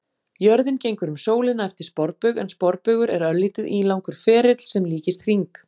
Jörðin gengur um sólina eftir sporbaug en sporbaugur er örlítið ílangur ferill sem líkist hring.